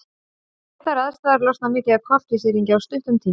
Við þær aðstæður losnar mikið af koltvísýringi á stuttum tíma.